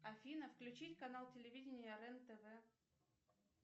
афина включить канал телевидение рен тв